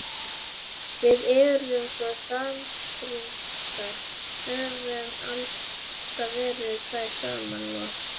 Við erum svo samrýmdar, höfum alltaf verið tvær saman og.